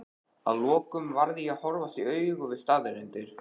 að lokum varð ég að horfast í augu við staðreyndir.